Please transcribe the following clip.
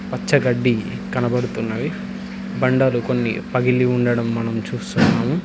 పచ్చగడ్డి కనబడుతున్నవి బండాలు కొన్ని పగిలి ఉండడం మనం చూస్తున్నాము.